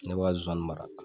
Ne bɛ k'a zonzannin mara